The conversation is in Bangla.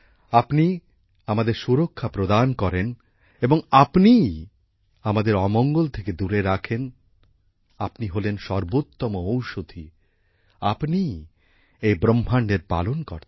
আপনি আমাদের সুরক্ষা প্রদান করেন এবং আপনিই আমাদের অমঙ্গল থেকে দূরে রাখেন আপনি হলেন সর্বোত্তম ঔষুধি আপনিই এই ব্রহ্মাণ্ডের পালনকর্তা